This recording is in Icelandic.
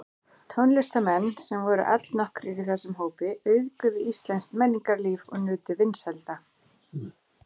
Tónlistarmenn, sem voru allnokkrir í þessum hópi, auðguðu íslenskt menningarlíf og nutu vinsælda.